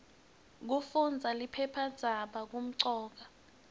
kufundaza liphephandzaba kumcoka